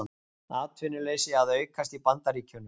Atvinnuleysi að aukast í Bandaríkjunum